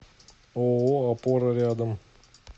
ооо опора рядом